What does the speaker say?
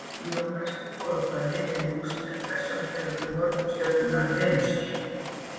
í rómverskri goðafræði var lúsífer persónugervingur morgunstjörnunnar venusar